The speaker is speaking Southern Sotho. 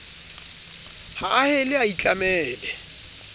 ha a hele a itlamele